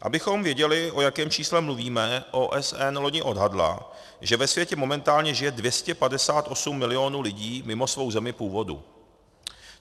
Abychom věděli, o jakém čísle mluvíme, OSN loni odhadla, že ve světě momentálně žije 258 milionů lidí mimo svou zemi původu.